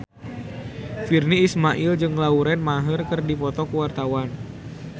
Virnie Ismail jeung Lauren Maher keur dipoto ku wartawan